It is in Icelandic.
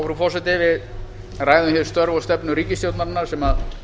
frú forseti við ræðum hér störf og stefnu ríkisstjórnarinnar sem